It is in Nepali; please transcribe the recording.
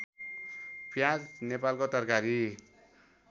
प्याज नेपालको तरकारी